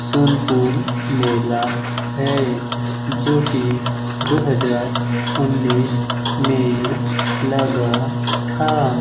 सोनपुर मेला है जो की दो हजार उन्नीस में लगा था।